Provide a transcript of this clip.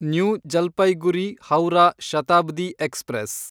new Jalpaiguri Howrah Shatabdi express